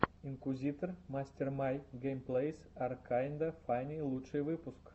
инкуизитор мастер май геймплэйс ар кайнда фанни лучший выпуск